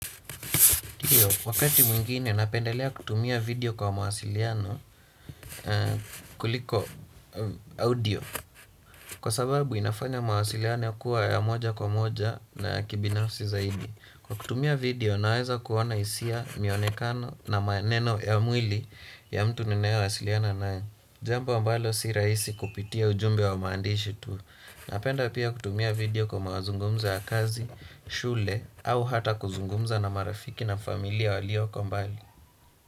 Ndiyo, wakati mwingine napendelea kutumia video kwa mawasiliano kuliko audio kwa sababu inafanya mawasiliano kuwa ya moja kwa moja na kibinafsi zaidi kwa kutumia video naweza kuona hisia mionekano na maneno ya mwili ya mtu ninayewasiliana naye jambo ambalo si rahisi kupitia ujumbe wa maandishi tu. Napenda pia kutumia video kwa mazungumzo ya kazi, shule au hata kuzungumza na marafiki na familia walioko mbali.